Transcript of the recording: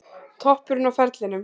Toppurinn á ferlinum